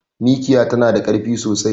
Mikiya tana da karfi sosai